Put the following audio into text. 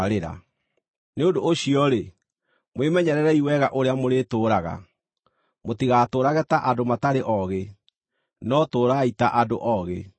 Nĩ ũndũ ũcio-rĩ, mwĩmenyererei wega ũrĩa mũrĩtũũraga, mũtigatũũrage ta andũ matarĩ ogĩ, no tũũrai ta andũ ogĩ,